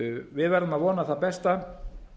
við verðum að vona það besta